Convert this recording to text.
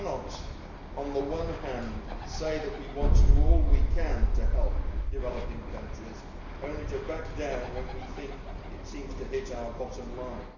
We cannot on the one hand say that we want to do all we can to help developing countries, only to back down when we think it seems to hit our bottom line.